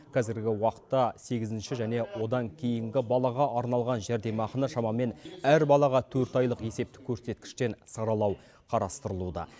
қазіргі уақытта сегізінші және одан кейінгі балаға арналған жәрдемақыны шамамен әр балаға төрт айлық есептік көрсеткіштен саралау қарастырылуда